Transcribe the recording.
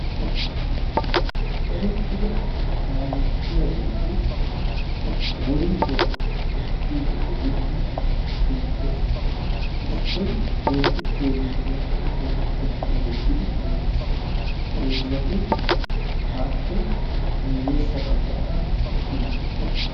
eretida kaalettiyaageti woytuwa ekkidi de'iyooge beettees. heezzati appe guye bagaara eqqidposona. hegaa xallan gidenan nu ogiyankka wanccaa ekkida asati deoosona.